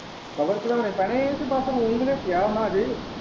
cover ਚੜਾਉਣੇ ਪੈਣੇ ਹੈ ਇਹ ਤੇ ਬਸ ਰੂੰ ਹੀ ਲਵੇਟਿਆ ਉਹਨਾਂ ਚ।